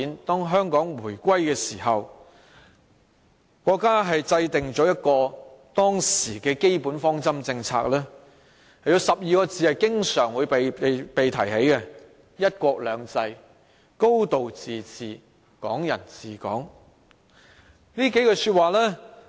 當香港回歸時，國家制訂了當時的基本方針政策，有12個字經常被提起，即"一國兩制"、"高度自治"、"港人治港"。